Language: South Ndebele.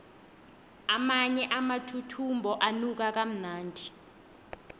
amanye amathuthumbo anuka kamnandi